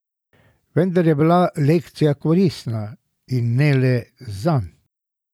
Vendar je bila lekcija koristna, in ne le zanj.